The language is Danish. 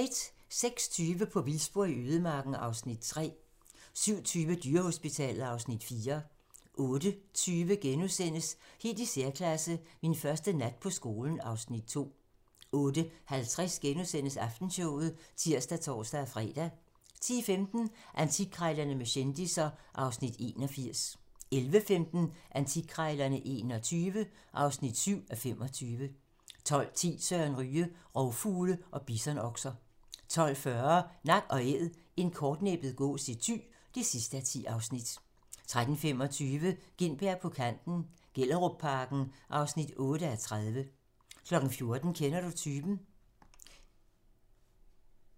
06:20: På vildspor i ødemarken (Afs. 3) 07:20: Dyrehospitalet (Afs. 4) 08:20: Helt i særklasse - Min første nat på skolen (Afs. 2)* 08:50: Aftenshowet *(tir og tor-fre) 10:15: Antikkrejlerne med kendisser (Afs. 81) 11:15: Antikkrejlerne XXI (7:25) 12:10: Søren Ryge: Rovfugle og bisonokser 12:40: Nak & æd - en kortnæbbet gås i Thy (10:10) 13:25: Gintberg på kanten - Gellerupparken (8:30) 14:00: Kender du typen?